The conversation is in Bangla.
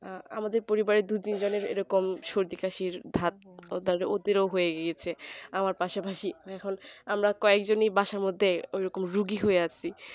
আহ আমাদের পরিবারের দু তিনজনের এরকম সর্দি কাশির ধাপ আমার পাশাপাশি এখন আমার কয়জনই বাসার মধ্যে রুগী হয়ে আছি